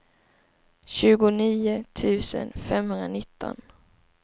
tjugonio tusen femhundranitton